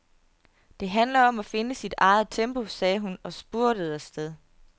Det handler om at finde sit eget tempo, sagde hun og spurtede afsted.